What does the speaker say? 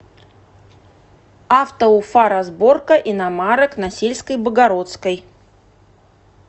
автоуфаразборка иномарок на сельской богородской